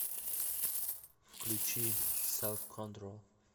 включи селф контрол